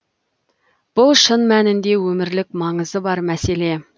бұл шын мәнінде өмірлік маңызы бар мәселе